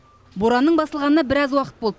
боранның басылғанына біраз уақыт болды